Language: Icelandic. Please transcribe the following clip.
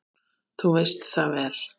Þú veist það vel.